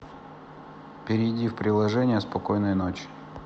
перейди в приложение спокойной ночи